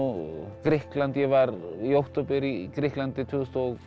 Grikkland var í október í Grikklandi tvö þúsund og